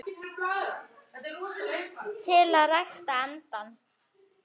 til að rækta andann